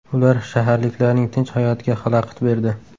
Ular shaharliklarning tinch hayotiga xalaqit berdi.